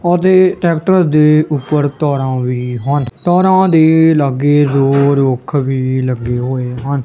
ਉਹਦੇ ਟਰੈਕਟਰ ਦੇ ਉੱਪਰ ਤਾਰਾਂ ਵੀ ਹਨ ਤਾਰਾਂ ਦੇ ਲਾਗੇ ਦੋ ਰੁੱਖ ਵੀ ਲੱਗੇ ਹੋਏ ਹਨ।